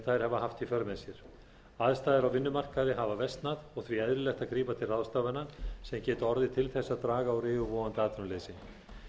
þær hafa haft í för með sér aðstæður á vinnumarkaði hafa versnað og því eðlilegt að grípa til ráðstafana sem geta orðið til þess að draga úr yfirvofandi atvinnuleysi